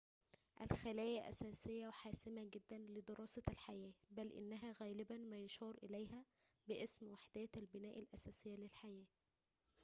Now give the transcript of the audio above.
الخلايا أساسيّةٌ وحاسمةٌ جداً لدراسة الحياة بل إنها غالباً ما يشار إليها باسم وحدات البناء الأساسية للحياة